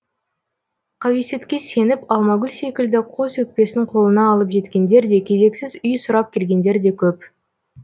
қауесетке сеніп алмагүл секілді қос өкпесін қолына алып жеткендер де кезексіз үй сұрап келгендер де көп